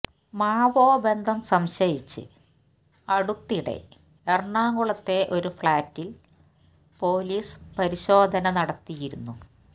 മാവോബന്ധം സംശയിച്ച് അടുത്തിടെ എറണാകുളത്തെ ഒരു ഫ്ളാറ്റില് പോലീസ് പരിശോധന നടത്തിയിരുന്നു